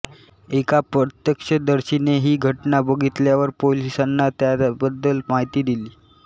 एका प्रत्यक्षदर्शीने ही घटना बघितल्यावर पोलिसांना त्याबद्दल माहिती दिली